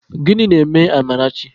Gịnị na-eme Amarachi?